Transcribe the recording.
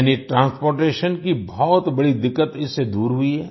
यानि ट्रांसपोर्टेशन की बहुत बड़ी दिक्कत इससे दूर हुई है